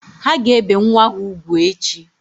Ha ga-ebe nwa ha ugwu echi